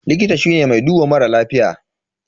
Likita shine mai duba mara lafiya.